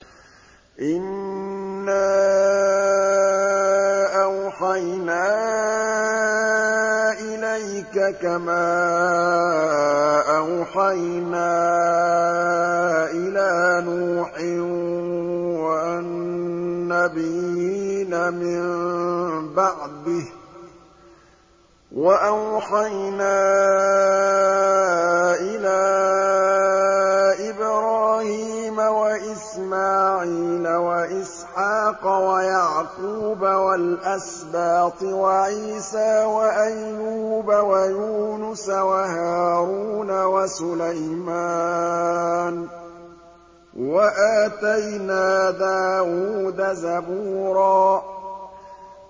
۞ إِنَّا أَوْحَيْنَا إِلَيْكَ كَمَا أَوْحَيْنَا إِلَىٰ نُوحٍ وَالنَّبِيِّينَ مِن بَعْدِهِ ۚ وَأَوْحَيْنَا إِلَىٰ إِبْرَاهِيمَ وَإِسْمَاعِيلَ وَإِسْحَاقَ وَيَعْقُوبَ وَالْأَسْبَاطِ وَعِيسَىٰ وَأَيُّوبَ وَيُونُسَ وَهَارُونَ وَسُلَيْمَانَ ۚ وَآتَيْنَا دَاوُودَ زَبُورًا